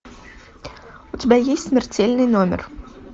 у тебя есть смертельный номер